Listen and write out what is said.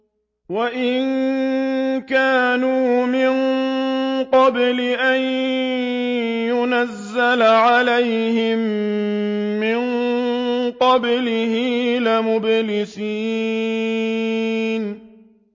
وَإِن كَانُوا مِن قَبْلِ أَن يُنَزَّلَ عَلَيْهِم مِّن قَبْلِهِ لَمُبْلِسِينَ